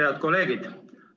Head kolleegid!